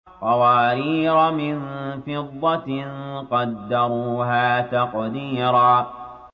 قَوَارِيرَ مِن فِضَّةٍ قَدَّرُوهَا تَقْدِيرًا